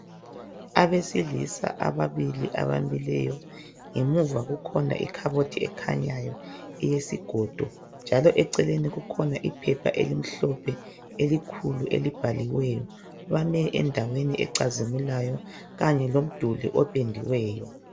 Abesilisa ababili abamileyo ngemuva kukhona ikhabothi ekhanyayo ilesigodo njalo kukhona iphepha elimhlophe elikhulu elibhaliweyo bamile endaweni ecazimulayo Kanye lomduli opendiweyo